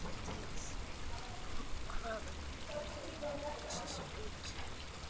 MATTHÍAS: Og hvaðan hefurðu þessa speki?